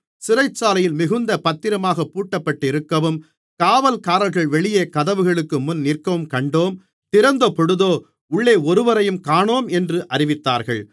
சிறைச்சாலை மிகுந்த பத்திரமாகப் பூட்டப்பட்டிருக்கவும் காவல்காரர்கள் வெளியே கதவுகளுக்கு முன் நிற்கவும் கண்டோம் திறந்தபொழுதோ உள்ளே ஒருவரையும் காணோம் என்று அறிவித்தார்கள்